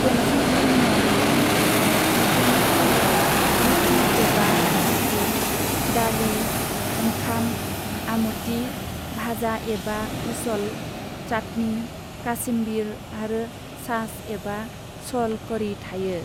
गंसे जुनिया मैगं थाइगं ओंख्रैनि थालियाव रुथि एबा भाकरी, दालि, ओंखाम, आमती, भाजा एबा उसल, चाटनी, काशिमबीर आरो छाछ एबा सल कढ़ी थायो।